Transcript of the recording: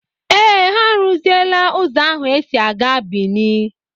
Ee, ha arụziela ụzọ ahụ e si a gaa Bìní.